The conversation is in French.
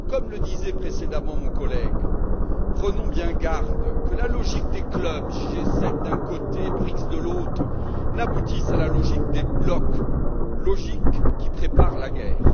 Comme le disait précédemment mon collègue, prenons bien garde à ce que la logique des clubs G7 d'un côté, BRICS de l'autre n'aboutisse pas à la logique des blocs, logique qui prépare la guerre.